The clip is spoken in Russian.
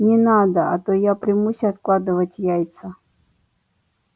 не надо а то я примусь откладывать яйца